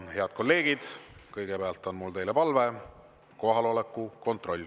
Head kolleegid, kõigepealt on mul teile palve: teeme kohaloleku kontrolli.